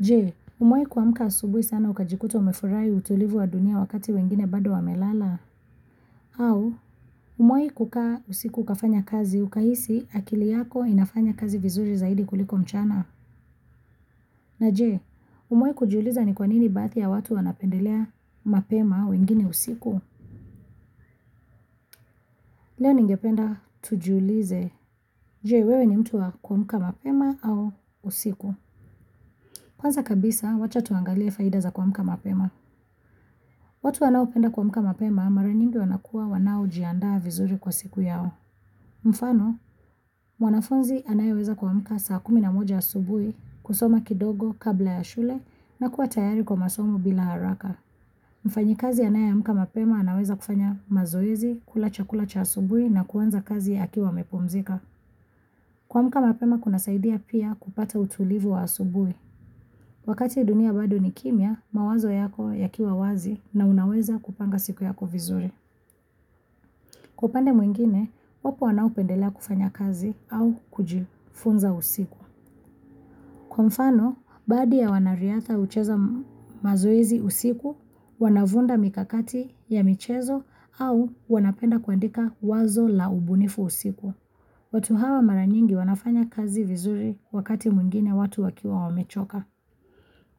Je, umewahi kuamka asubuhi sana ukajikuta umefurai utulivu wa dunia wakati wengine bado wamelala? Au, umewahi kukaa usiku ukafanya kazi ukahisi akili yako inafanya kazi vizuri zaidi kuliko mchana? Na je, umewahi kujiuliza ni kwa nini baadhi ya watu wanapendelea mapema wengine usiku? Leo ningependa tujulize. Je, wewe ni mtu wa kuamka mapema au usiku? Kwanza kabisa, wacha tuangalia faida za kuamka mapema. Watu wanaopenda kuamka mapema, mara nyingi wanakuwa wanaojiandaa vizuri kwa siku yao. Mfano, mwanafunzi anayeweza kuamka saa kumi na moja asubuhi, kusoma kidogo, kabla ya shule, na kuwa tayari kwa masomo bila haraka. Mfanyikazi anayeamka mapema anaweza kufanya mazoezi, kula chakula cha asubuhi na kuanza kazi akiwa amepumzika. Kuamka mapema kunasaidia pia kupata utulivu wa asubuhi. Wakati dunia bado ni kimya, mawazo yako yakiwa wazi na unaweza kupanga siku yako vizuri. Kwa upande mwingine, wapo wanaopendelea kufanya kazi au kujifunza usiku. Kwa mfano, baadhi ya wanariadha hucheza mazoezi usiku, wanavumba mikakati ya michezo au wanapenda kuandika wazo la ubunifu usiku. Watu hawa mara nyingi wanafanya kazi vizuri wakati mwingine watu wakiwa wamechoka.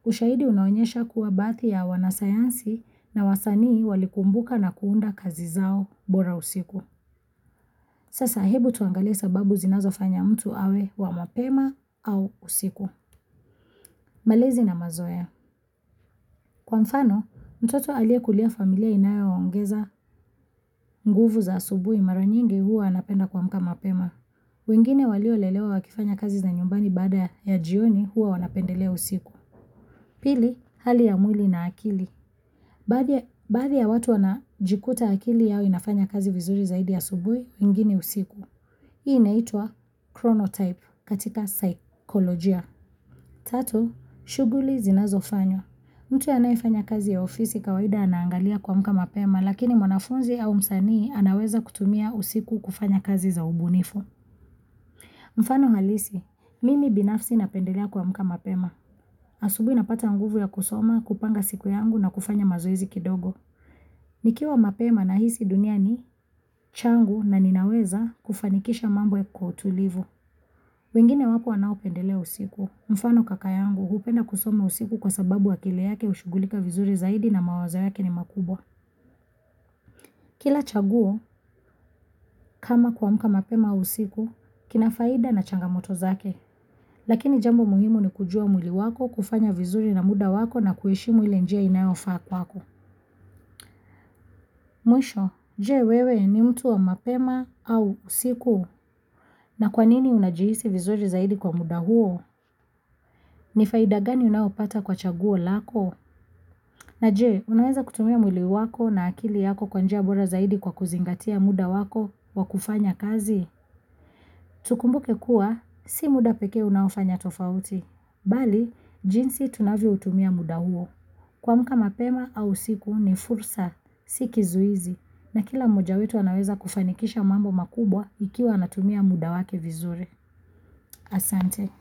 Ushahidi unaonyesha kuwa baadhi ya wanasayansi na wasanii walikumbuka na kuunda kazi zao bora usiku. Sasa hebu tuangalie sababu zinazofanya mtu awe wa mapema au usiku. Malezi na mazoea. Kwa mfano, mtoto aliyekulia familia inayoongeza nguvu za asubuhi mara nyingi huwa anapenda kuamka mapema. Wengine waliolelewa wakifanya kazi za nyumbani baada ya jioni huwa wanapendelea usiku. Pili, hali ya mwili na akili. Baadhi ya Baadhi ya watu wanajikuta akili yao inafanya kazi vizuri zaidi asubuhi, wengine usiku. Hii inaitwa chromotype katika saikolojia. Tatu, shughuli zinazofanywa mtu anayefanya kazi ya ofisi kawaida anaangalia kuamka mapema, lakini mwanafunzi au msanii anaweza kutumia usiku kufanya kazi za ubunifu. Mfano halisi, mimi binafsi napendelea kuamka mapema. Asubuhi napata nguvu ya kusoma, kupanga siku yangu na kufanya mazoezi kidogo. Nikiwa mapema nahisi dunia ni changu na ninaweza kufanikisha mambo kwa utulivu. Wengine wapo wanaopendelea usiku. Mfano kaka yangu, hupenda kusoma usiku kwa sababu akili yake hushugulika vizuri zaidi na mawazo yake ni makubwa. Kila chaguo, kama kuamka mapema au usiku, kina faida na changamoto zake. Lakini jambo muhimu ni kujua mwili wako, kufanya vizuri na muda wako na kuheshimu ile njia inayofaa kwako. Mwisho, je wewe ni mtu wa mapema au usiku? Na kwanini unajihisi vizuri zaidi kwa muda huo? Ni faida gani unayopata kwa chaguo lako? Na je, unaweza kutumia mwili wako na akili yako kwa njia bora zaidi kwa kuzingatia muda wako wa kufanya kazi? Tukumbuke kuwa, si muda pekee unaofanya tofauti. Bali, jinsi tunavyoutumia muda huo. Kuamka mapema au usiku ni fursa, si kizuizi na kila mmoja wetu anaweza kufanikisha mambo makubwa ikiwa anatumia muda wake vizuri. Asante.